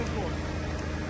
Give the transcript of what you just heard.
Qoru, qoru.